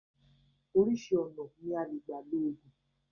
Orísìí ọ̀nà ni alè gba lò oògùn